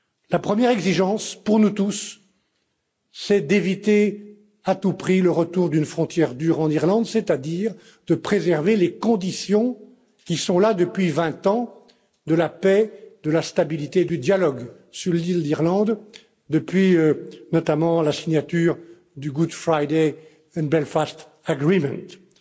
La première exigence, pour nous tous, c'est d'éviter à tout prix le retour d'une frontière dure en Irlande, c'est à dire de préserver les conditions qui sont là depuis 20 ans de la paix, de la stabilité et du dialogue sur l'île d'Irlande, depuis notamment la signature de l'accord du Vendredi saint.